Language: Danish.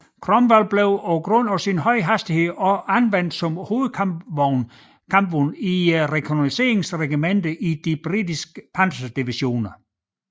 Cromwell blev på grund af sin høje hastighed også anvendt som hovedkampvognen i rekognosceringsregimenterne i de britiske panserdivisioner